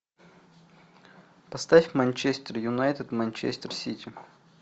поставь манчестер юнайтед манчестер сити